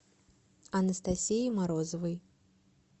анастасии морозовой